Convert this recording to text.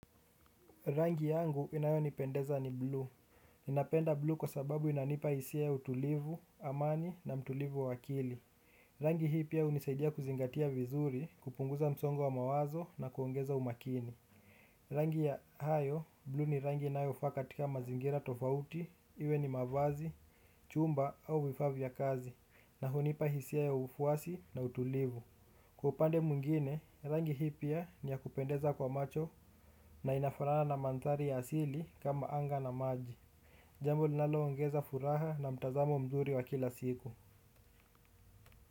Rangi yangu inayonipendeza ni buluu. Napenda blue kwa sababu inanipa hisia ya utulivu, amani na utulivu wa akili. Rangi hii pia hunisaidia kuzingatia vizuri, kupunguza msongo wa mawazo na kuongeza umakini. Rangi ya hayo, blue ni rangi inayofa katika mazingira tofauti, iwe ni mavazi, chumba au vifaa vya kazi, na hunipa hisia ya ufuasi na utulivu. Kwa upande mwingine, rangi hii pia niya kupendeza kwa macho na inafuraha na mantari ya asili kama anga na maji. Jambo linaloongeza furaha na mtazamo mzuri wa kila siku.